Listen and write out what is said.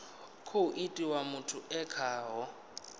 khou itiwa muthu e khaho